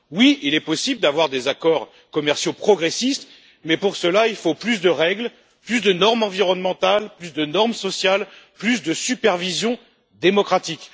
Oui, il est possible d'avoir des accords commerciaux progressistes, mais pour cela, il faut plus de règles, plus de normes environnementales, plus de normes sociales et plus de supervision démocratique.